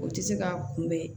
O tɛ se ka kunbɛn